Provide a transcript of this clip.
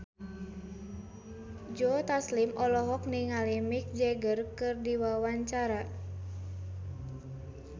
Joe Taslim olohok ningali Mick Jagger keur diwawancara